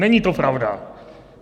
Není to pravda.